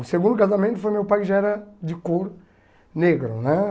O segundo casamento foi meu pai que já era de cor negro, né?